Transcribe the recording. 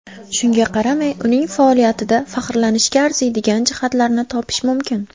Shunga qaramay, uning faoliyatida faxrlanishga arziydigan jihatlarni topish mumkin.